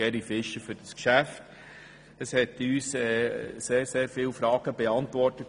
Dadurch wurden viele unserer Fragen beantwortet.